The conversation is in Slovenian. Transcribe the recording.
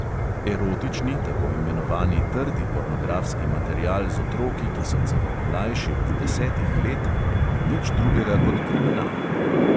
Erotični, tako imenovani trdi pornografski material z otroki, ki so celo mlajši od desetih let, ni nič drugega kot kriminal.